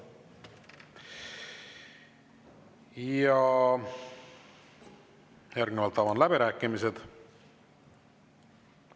Järgnevalt avan läbirääkimised.